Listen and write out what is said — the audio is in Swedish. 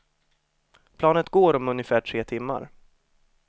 Planet går om ungefär tre timmar.